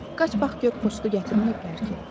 Qaç bax gör poçtu gətirməyiblər ki?